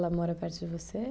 Ela mora perto de você?